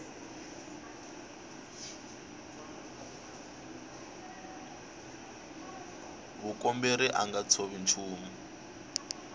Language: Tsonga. mukomberi a nga tshovi nchumu